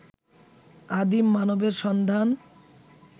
আদিম মানবের সন্ধান